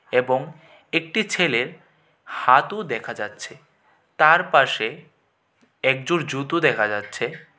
এবং একটি ছেলের হাতু দেখা যাচ্ছে তারপাশে এক জোড় জুতো দেখা যাচ্ছে ।